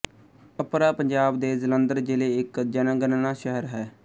ਅਪਰਾ ਪੰਜਾਬ ਦੇ ਜਲੰਧਰ ਜ਼ਿਲ੍ਹੇ ਇੱਕ ਜਨਗਣਨਾ ਸ਼ਹਿਰ ਹੈ